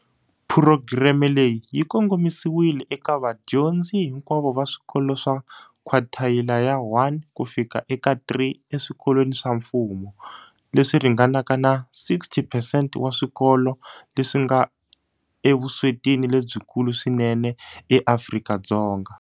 Phurogireme leyi yi kongomisiwile eka vadyondzi hinkwavo va swikolo swa khwathayila ya 1 ku fika eka 3 eswikolweni swa mfumo, leswi ringanaka na 60 phesente wa swikolo leswi nga evuswetini lebyikulu swinene eAfrika-Dzonga.